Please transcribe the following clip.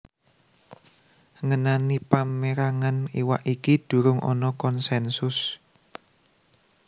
Ngenani pamérangan iwak iki durung ana konsènsus